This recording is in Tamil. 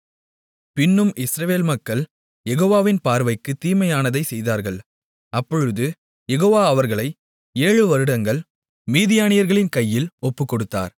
பின்னும் இஸ்ரவேல் மக்கள் யெகோவாவின் பார்வைக்குத் தீமையானதைச் செய்தார்கள் அப்பொழுது யெகோவா அவர்களை ஏழு வருடங்கள் மீதியானியர்களின் கையில் ஒப்புக்கொடுத்தார்